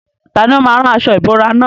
Tani ó máa rán aṣọ ìbora nà?